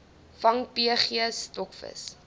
vang pg stokvis